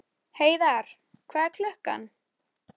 Hún var vís til þess að fyrtast yfir því.